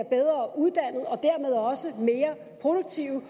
bedre uddannede og dermed også mere produktive